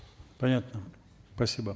понятно спасибо